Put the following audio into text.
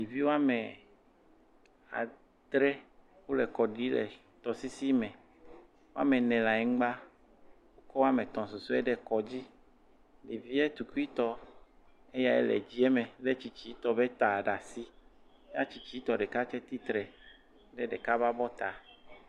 Ɖevi woame adre wole kɔ ɖii le tɔsisi me. Woame ne le anyigba ko woame tɔ̃ susue ɖe kɔ dzi. Ɖevia tukuitɔ yea le dzie me le tsitsitɔ ƒe ta ɖe asi. Ya tsitsitɔ ɖeka tse tsitre ɖe ɖeka ƒe abɔta.